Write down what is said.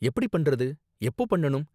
எப்படி பண்றது? எப்போ பண்ணனும்?